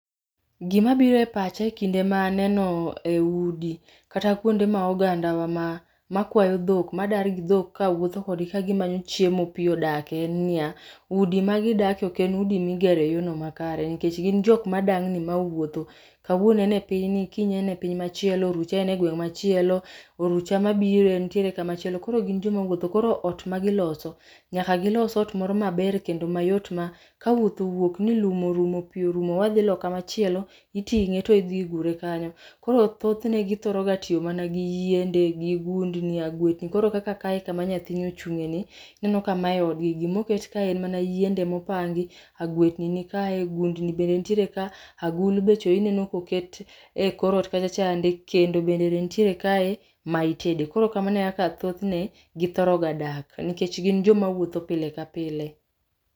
Gima biro e pacha ekinde ma aneno e udi kata kuonde ma oganda wa ma, makwayo dhok, madar gi dhok kawuotho kodgi kamanyo chiemo pii odake en niya, udi magidake oken udi migero e yono makare nikech gin joma dangni ma owuotho kawuono en e pinyni kiny ene piny machielo ,orucha en e gweng machielo ,orucha mabiro entiere kama chielo kor gin joma wuotho koro ot magiloso nyaka gilos ot moro maber kendo mayot ma kawuoth owuok ni lum orumo pii orumo wadhi loka machielo, itinge to idhi idhure kanyo. Koro thothne githoro ga tiyo gi yiende gi gundni, agwetni. koro kaka kae kama nyathini ochungeni, ineno ka mae gima oket kae gin mana yiende mopangi, agwetni nikae, gundni bende nitiere ka, agulu be echo ineno koket e kor ot kacha chande, kendo bende nitiere kae ma itede. Koro kamano ekaka thothne githoro ga dak nikech gin joma wuotho pile ka pile